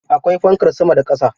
Akwai fankar sama da ƙasa.